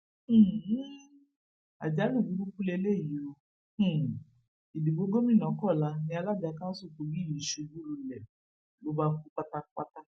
um àjálù burúkú lélẹyìí ò um ìdìbò gómìnà kọla ni alága kanṣu kogi yìí ṣubú lulẹ ló bá kú pátápátá